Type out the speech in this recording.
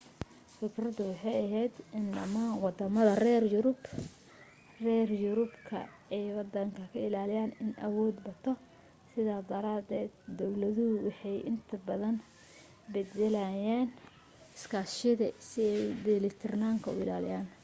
fikradu waxay ahayd in dhammaan waddamada reer yurubku ay waddan ka ilaaliyaan inuu awood bato sidaa daraadeed dawladuhu waxay inta badan beddelanayeen iskaashiyada si ay isu dheelitiranka u ilaaliyaan